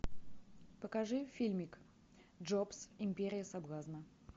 покажи фильмик джобс империя соблазна